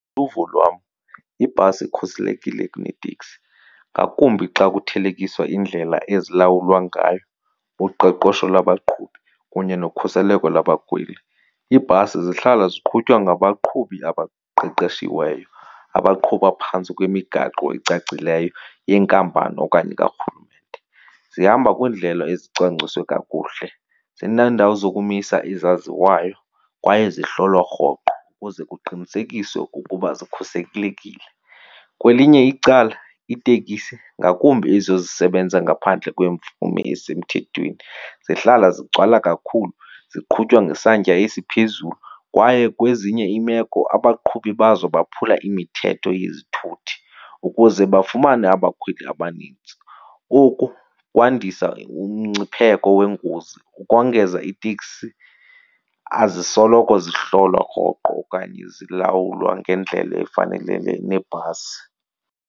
Uvo lwam, ibhasi ikhuselekile kuneteksi ngakumbi xa kuthelekiswa indlela ezilawulwa ngayo, uqeqesho lwabaqhubi kunye nokhuseleko labakhweli. Iibhasi zihlala ziqhutywa ngabaqhubi abaqeqeshiweyo abaqhuba phantsi kwemigaqo ecacileyo yenkampani okanye karhulumente. Zihamba kwiindlela ezicwangciswe kakuhle. Zineendawo zokumisa ezaziwayo kwaye zihlolwa rhoqo ukuze kuqinisekiswe ukuba zikhuselekile. Kwelinye icala iiteksi, ngakumbi ezo zisebenza ngaphandle kwemvume esemthethweni, zihlala zigcwala kakhulu, ziqhutywa ngesantya esiphezulu kwaye kwezinye iimeko abaqhubi bazo baphula imithetho yezithuthi ukuze bafumane abakhweli abanintsi. Oku kwandisa umngcipheko weengozi. Ukongeza, iiteksi azisoloko zihlolwa rhoqo okanye zilawulwa ngendlela efanelele nebhasi.